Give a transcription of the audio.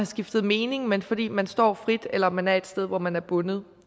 skiftet mening men fordi man står frit eller man er et sted hvor man er bundet